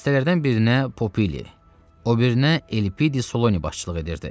Dəstələrdən birinə Popili, o birinə Elpidi Soloni başçılıq edirdi.